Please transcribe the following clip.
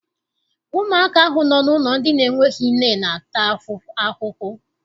Ụmụaka ahụ nọ n'ụlọ ndị n'enweghị nne na-ata ahụhụ.